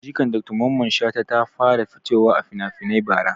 Jikan Dr mamman shata ta fara fitowa a finafinai bara